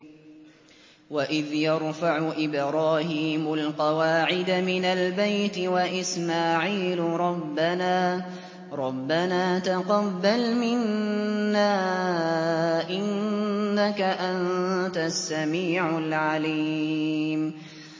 وَإِذْ يَرْفَعُ إِبْرَاهِيمُ الْقَوَاعِدَ مِنَ الْبَيْتِ وَإِسْمَاعِيلُ رَبَّنَا تَقَبَّلْ مِنَّا ۖ إِنَّكَ أَنتَ السَّمِيعُ الْعَلِيمُ